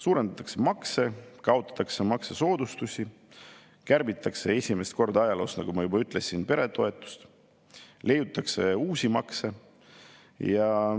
Suurendatakse makse, kaotatakse maksusoodustusi, kärbitakse esimest korda ajaloos, nagu ma juba ütlesin, peretoetusi, leiutatakse uusi makse.